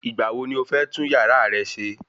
Ìgbà wo ni o fẹ́ tún yàrá rẹ se?